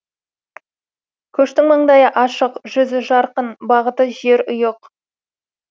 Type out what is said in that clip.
көштің маңдайы ашық жүзі жарқын бағыты жерұйық